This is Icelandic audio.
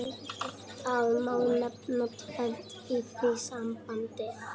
Það má nefna tvennt í því sambandi.